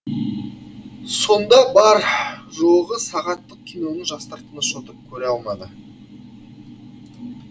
сонда бар жоғы сағаттық киноны жастар тыныш отырып көре алмады